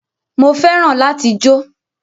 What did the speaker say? Mo fẹ́ràn láti jó